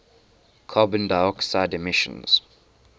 carbon dioxide emissions